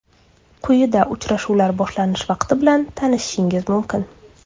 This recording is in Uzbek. Quyida uchrashuvlar boshlanish vaqti bilan tanishishingiz mumkin.